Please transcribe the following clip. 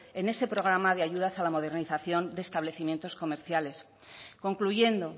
en ese programa de ayudas a la modernización de establecimientos comerciales concluyendo